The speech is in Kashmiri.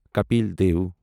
کپل دٮ۪و